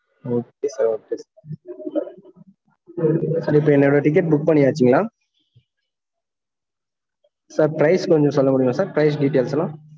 okay sir okay இப்போ என்னோட ticket book பண்ணியாச்சுங்களா? அஹ் sir prize கொஞ்சம் சொல்ல முடியுமா sir price details எல்லாம்?